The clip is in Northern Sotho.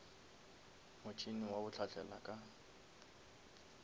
motšhene wa go hlahlela ka